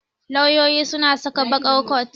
Lauyoyi suna saka baƙar coat.